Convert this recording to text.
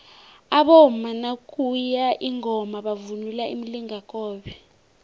abomama nakuye ingoma bavunula imilingakobe